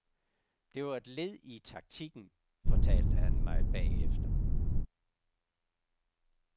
Det var et led i taktikken, fortalte han mig bagefter.